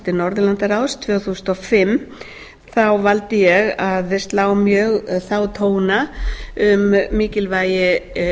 forseti norðurlandaráðs tvö þúsund og fimm þ þá valdi ég að slá mjög þá tóna um mikilvægi